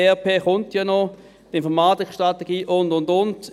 SAP kommt ja noch, die Informatikstrategie, und, und, und.